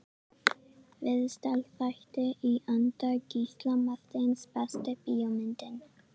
Viðtalsþættir í anda Gísla Marteins Besta bíómyndin?